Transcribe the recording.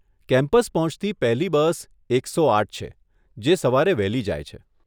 Campus પહોંચતી પહેલી bus એકસો આઠ છે, જે સવારે વહેલી જાય છે.